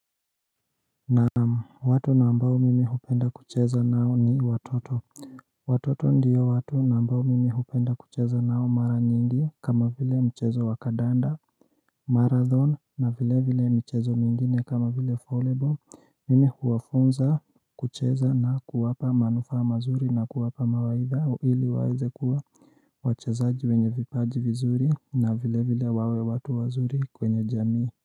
Na watu na ambao mimi hupenda kucheza nao ni watoto Watoto ndiyo watu na ambao mimi hupenda kucheza nao mara nyingi kama vile mchezo wa kadanda Marathon na vile vile mchezo mingine kama vile folebo Mimi huwafunza kucheza na kuwapa manufaa mazuri na kuwapa mawaidha ili waweze kuwa wachezaji wenye vipaji vizuri na vile vile wawe watu wazuri kwenye jamii.